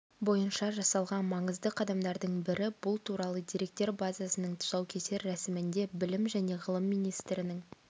бойынша жасалған маңызды қадамдардың бірі бұл туралы деректер базасының тұсаукесер рәсімінде білім және ғылым министірінің